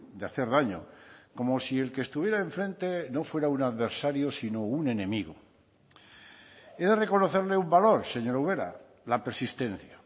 de hacer daño como si el que estuviera enfrente no fuera un adversario sino un enemigo he de reconocerle un valor señora ubera la persistencia